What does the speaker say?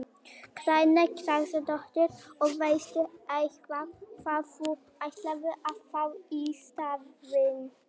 Karen Kjartansdóttir: Og veistu eitthvað hvað þú ætlar að fá í staðinn?